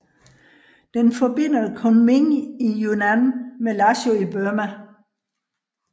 Den forbinder Kunming i Yunnan med Lashio i Burma